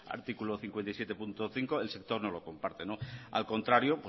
artículo cincuenta y siete punto cinco el sector no lo comparte al contrario